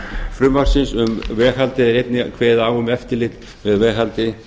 frumvarpsins um veghaldið er einnig kveðið á um eftirlit með veghaldi